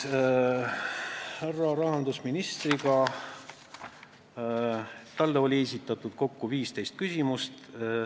Härra rahandusministrile esitati kokku 15 küsimust.